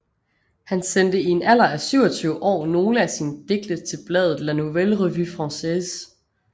Han sendte i en alder af 27 år nogle af sine digte til bladet La Nouvelle Revue Française